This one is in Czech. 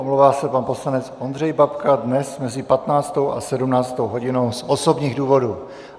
Omlouvá se pan poslanec Ondřej Babka dnes mezi 15. a 17. hodinou z osobních důvodů.